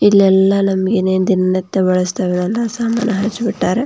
ಇಲ್ಲೆಲ್ಲಾ ನಮಗೆ ಏನೇನು ದಿನನಿತ್ಯ ಬಳಸ್ತೆವ ಅದು ಎಲ್ಲಾ ಸಾಮಾನ್‌ ಹಚ್ಚ ಬುಟ್ಟಾರ .